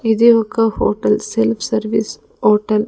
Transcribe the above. ఇది ఒక hotel self service hotel .